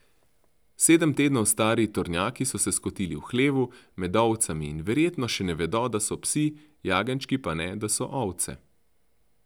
Sedem tednov stari tornjaki so se skotili v hlevu, med ovcami, in verjetno še ne vedo, da so psi, jagenjčki pa ne, da so ovce.